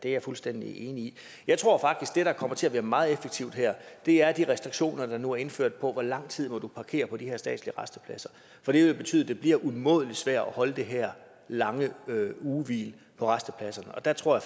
er jeg fuldstændig enig i jeg tror faktisk at det der kommer til at være meget effektivt her er de restriktioner der nu er indført for hvor lang tid man må parkere på de her statslige rastepladser det vil betyde at det bliver umådelig svært at holde de her lange ugehvil på rastepladserne og der tror